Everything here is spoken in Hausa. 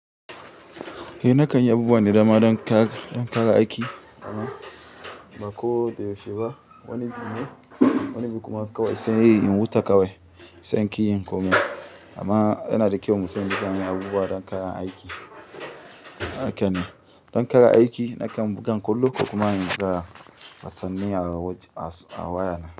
Eh na kan yi abubuwa na dama don ƙara, don ƙara aiki amma ba ko da yaushe ba. Wani bin, wani bin kuma kawai sai in huta kawai sai in kin yi yin komai. Amma yana da kyau mu san game da abubuwa don kayan aiki. Haka ne, don kayan aiki na kan buga kullum kuma in fara sani a waya.